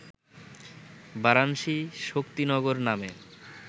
বারানসি-শক্তিনগর নামে